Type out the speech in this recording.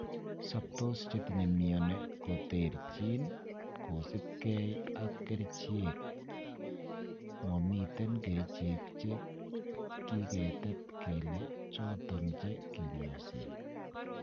Soptos chetinye mioni koterchin kosipke ak kerichek, momiten kerichek che kiketet kele choton che kinyoisen.